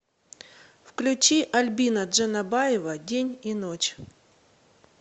включи альбина джанабаева день и ночь